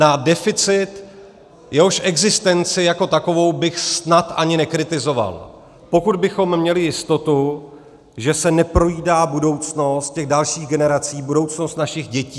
Na deficit, jehož existenci jako takovou bych snad ani nekritizoval, pokud bychom měli jistotu, že se neprojídá budoucnost těch dalších generací, budoucnost našich dětí.